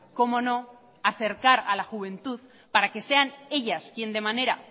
cómo no acercar a la juventud para que sean ellas quien de manera